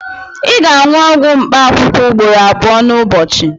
Ị ga-aṅụ ọgwụ mkpaakwụkwọ ugboro abụọ n'ụbọchị